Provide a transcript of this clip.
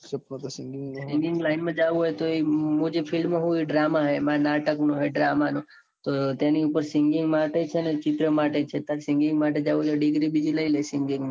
singing line માં જાઉં હોય તો એ મુ જે field માં હું. એ drama હે માર નાટક નો હે drama નો તેની ઉપર singing માટે છે. ને ચિત્ર માટે છે. તાર singing માટે જાઉં હોય તો degree બીજી લઈલે singing ની.